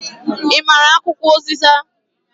I maara akwụkwọ uziza?